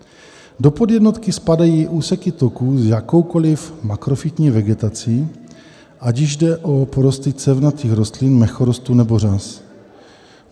Do podjednotky spadají úseky toků s jakoukoli makrofytní vegetací, ať již jde o porosty cévnatých rostlin, mechorostů nebo řas.